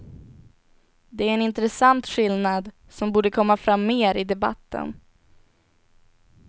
Det är en intressant skillnad, som borde komma fram mer i debatten.